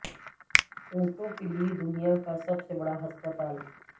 اونٹوں کے لیے دنیا کا سب سے بڑا ہسپتال